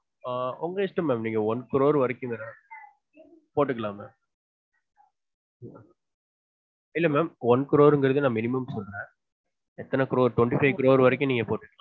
ஆஹ் உங்க இஷ்டம் mam one crore வரைக்கும் போட்டுக்குளான் mam இல்ல mam one crore நான் minimum சொல்றன் ஏத்தன crore twenty five crore வரைக்கும்